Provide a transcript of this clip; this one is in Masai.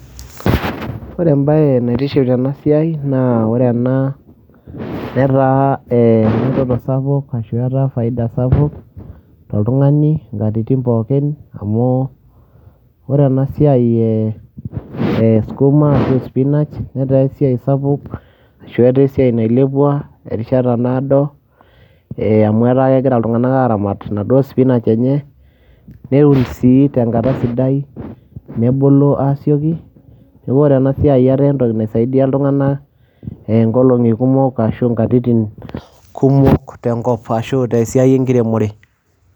ore ebae naitiship tena siai, naa ore ena netaa eretoto sapuk ashu etaa faida sapuk. toltungani, nkatitin pookinamu ore ena siai e skuma ashu spinach netaa esiai sapuk ashu etaa esaii nailepua. terishata naado, amu etaa kegira iltunganak aaramat inaduoo skuma enye. netum sii tenkata sidai, nebulu aasioki, neku ore ena siai etaa entoki naisidia iltunganak inkolongi kumok ashu inkatitin, kumok tenkop ashu tesiai enkiremore.